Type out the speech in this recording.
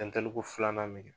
filanan min kɛ